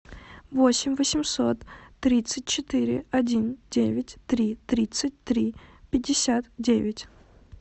восемь восемьсот тридцать четыре один девять три тридцать три пятьдесят девять